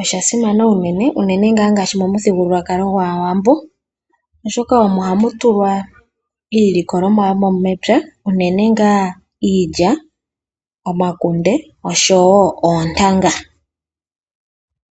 Oshasimana unene ngaa ngaashi momuthigululwakalo gwaawambo oshoka omo hamu tulwa iilikolomwa yomepya unene ngaa iilya, omakunde oshowo oontanga.